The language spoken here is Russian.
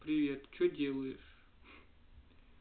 привет что делаешь